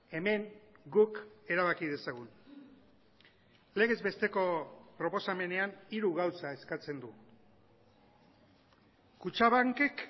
hemen guk erabaki dezagun legez besteko proposamenean hiru gauza eskatzen du kutxabankek